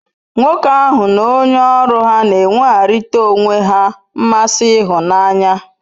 Nwoke ahu n'onye oru ha n'enwegharitara onwe he nmasi ihunanya